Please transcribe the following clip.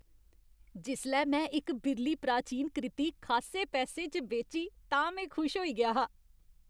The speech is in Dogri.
जिसलै में इक बिरली प्राचीन कृति खासे पैसें च बेची तां में खुश होई गेआ हा।